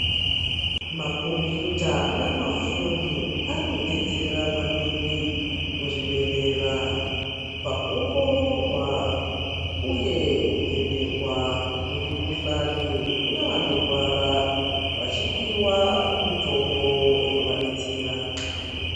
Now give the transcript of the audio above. Ma kombiyuta na mafoni ari kudetsera maningi mu zvibhedhlera paku ongororwa uye ku vhenekwa kwe mu kuhlani kune vano rwara vachipiwa mitombo ino vadetsera.